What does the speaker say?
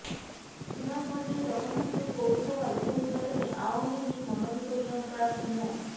সুনামগঞ্জের জগন্নাথপুর পৌরসভার উপনির্বাচনে আওয়ামী লীগ মনোনীত মেয়র প্রার্থী মো